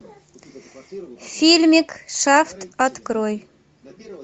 фильмик шафт открой